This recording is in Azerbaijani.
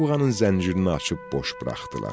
Buğanın zəncirini açıb boş buraxdılar.